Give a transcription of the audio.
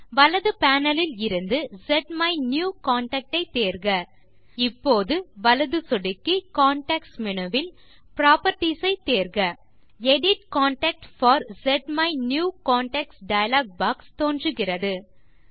வலது பேனல் இலிருந்து ஸ்மைனியூகன்டாக்ட் ஐ தேர்க இப்போது வலது சொடுக்கி கான்டெக்ஸ்ட் மேனு வில் புராப்பர்ட்டீஸ் ஐ தேர்க எடிட் கான்டாக்ட் போர் ஸ்மைனியூகன்டாக்ட் டயலாக் பாக்ஸ் தோன்றுகிறது